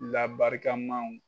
Labarikamaw